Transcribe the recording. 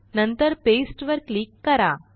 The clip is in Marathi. नंतर पास्ते वर क्लिक करा